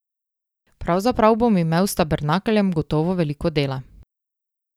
Pravzaprav bom imel s tabernakljem gotovo veliko dela.